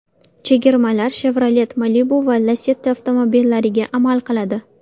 Chegirmalar Chevrolet Malibu va Lacetti avtomobillariga amal qiladi.